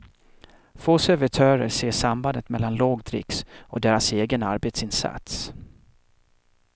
Få servitörer ser sambandet mellan låg dricks och deras egen arbetsinsats.